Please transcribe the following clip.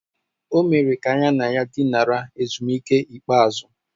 O mere ka ya na ya dinara ezumike ikpeazụ.